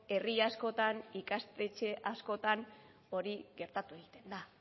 herri askotan ikastetxe askotan hori gertatu egiten da